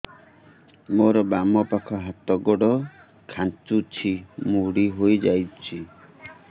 ମୋର ବାମ ପାଖ ହାତ ଗୋଡ ଖାଁଚୁଛି ମୁଡି ହେଇ ଯାଉଛି